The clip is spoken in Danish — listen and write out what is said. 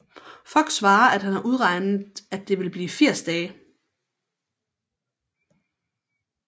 Fogg svarer at han har udregnet at det vil blive 80 dage